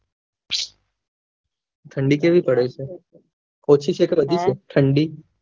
ઠંડી કેવી પડી છે ઓછી છે કે અજુ છે ઠંડી